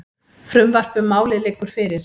Frumvarp um málið liggur fyrir.